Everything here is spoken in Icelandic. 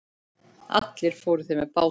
Allir fóru þeir með bátnum.